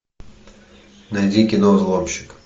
найди кино взломщик